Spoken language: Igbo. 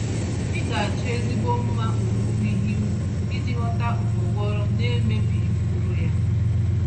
Ị ga-achọ ezigbo mma owuwe ihe ubi iji ghọta ụgbọghọrọ nemebighị mkpụrụ yá